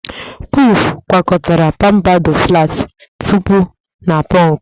Kwif gwakọtara pampadọ, flatị tọpụ na pọnkụ.